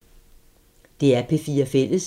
DR P4 Fælles